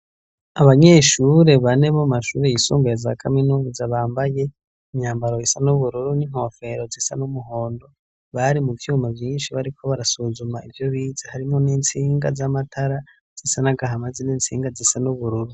Abanyeshure bane bo mashuri yisumbuye za kaminuza bambaye imyambaro isa n'ubururu n'inkofero zisa n'umuhondo, bari mu vyuma vyinshi bariko barasuzuma ivyo bize harimwo n'intsinga z'amatara zisa n'agahamazi n'intsinga zisa n'ubururu.